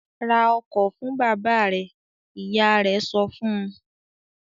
"Ra ọkọ̀ fún bàbá rẹ!" Ìyá rẹ̀ sọ fún un.